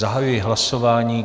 Zahajuji hlasování.